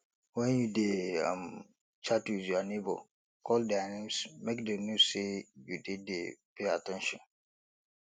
when you dey um chat with your neigbour call their names make dem know say you dey dey pay at ten tion